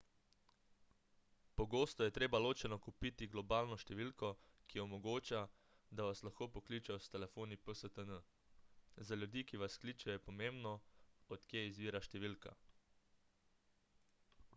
pogosto je treba ločeno kupiti globalno številko ki omogoča da vas lahko pokličejo s telefoni pstn za ljudi ki vas kličejo je pomembno od kje izvira številka